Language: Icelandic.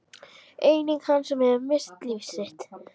Einnig hann hefur misst líf sitt.